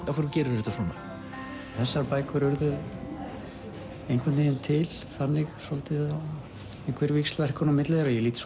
af hverju gerirðu þetta svona þessar bækur urðu einhvern veginn til þannig svolítið einhver víxlverkun á milli þeirra ég lít